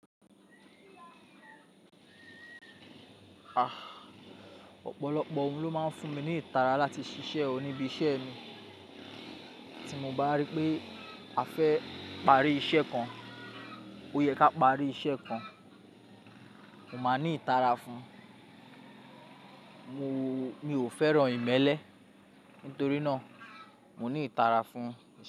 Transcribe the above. Ọ̀pọ̀lọpọ̀ ohun ló máa ń fún mi ní ìtara láti ṣiṣẹ́ o níbi iṣẹ́ ẹni. Tí mo bá rí pé a fẹ́ parí iṣẹ́ kan, ó yẹ ká parí iṣẹ́ kan, mo máa ní ìtara fún un. Mo, mi ò fẹ́ràn ìmẹ́lẹ́ nítorí náà mo ní ìtara fún iṣẹ́.